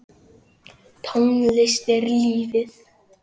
Tónlist er lífið!